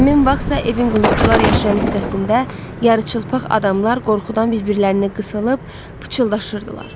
Həmin vaxtsa evin qulluqçular yaşayan hissəsində yarıçılpaq adamlar qorxudan bir-birlərinə qısılıb pıçıldaşırdılar.